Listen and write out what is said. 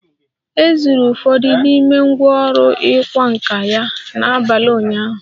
E zuru ụfọdụ n'ime ngwá ọrụ ịkwa nkà ya n'abalị ụnyaahụ